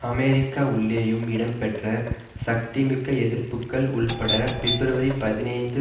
America உள்ளேயும் இடம்பெற்ற சக்திமிக்க எதிர்ப்புக்கள் உள்பட பிப்ரவரி பதினைந்து